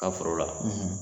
ka foro la